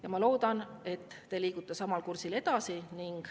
Ja ma loodan, et te liigute samal kursil edasi.